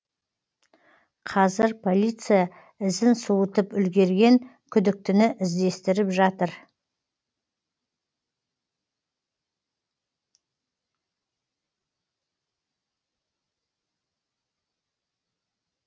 қазір полиция ізін суытып үлгерген күдіктіні іздестіріп жатыр